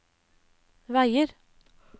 veier